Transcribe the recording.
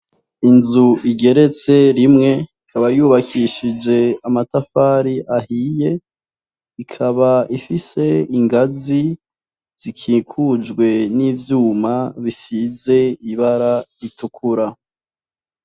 Inzu igeretse imwe ikaba yubakishije amatafari ahiye ikaba ifise ingazi zikikujwe n'ivyuma bisize ibara ritukura.